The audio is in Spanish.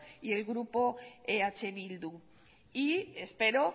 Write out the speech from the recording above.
y el grupo eh bildu y espero